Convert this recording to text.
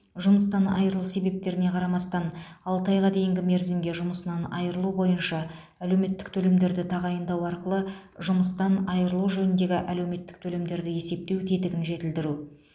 жұмыстан айырылу себептеріне қарамастан алты айға дейінгі мерзімге жұмысынан айырылу бойынша әлеуметтік төлемдерді тағайындау арқылы жұмыстан айырылу жөніндегі әлеуметтік төлемдерді есептеу тетігін жетілдіру